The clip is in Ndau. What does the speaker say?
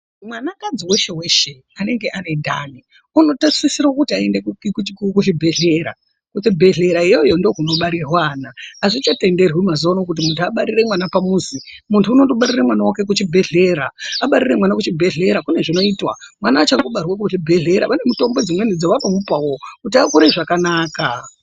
Mwanakadzi weshe weshe anenge ane ndani unotarisirwa kuti aende kuchibhedhlera, kuchibhedhlera iyoyo ndiko kunobarirwa ana azvichatenderwi mazuwano kuti muntu abarire pamuzi, muntu unondobarira mwana wake kuchibhedhlera abarire mwana kuchibhedhlera kune zvinoitwa mwana achangobarwa kuchibhedhlera vane mutombo dzimweni dzavanomupawo kuti akure zvakanaka.